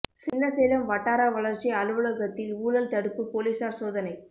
சின்னசேலம் வட்டார வளா்ச்சி அலுவலகத்தில் ஊழல் தடுப்பு போலீஸாா் சோதனை